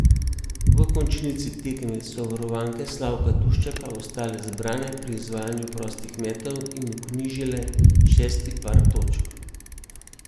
V končnici tekme so varovanke Slavka Duščaka ostale zbrane pri izvajanju prostih metov in vknjižile šesti par točk.